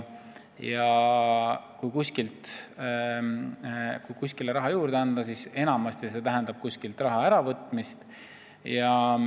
Kui anda kuskile raha juurde, siis enamasti tähendab see kusagilt mujalt raha äravõtmist.